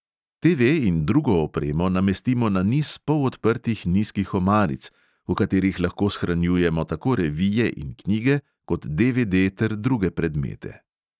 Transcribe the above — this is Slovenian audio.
TV in drugo opremo namestimo na niz polodprtih nizkih omaric, v katerih lahko shranjujemo tako revije in knjige kot DVD ter druge predmete.